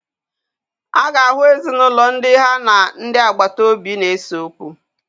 A ga-ahụ ezinaụlọ ndị ha na ndị agbata obi na-ese okwu.